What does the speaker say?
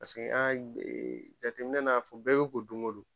Paseke an ka jatemin a fɔ bɛɛ be ko don ko don.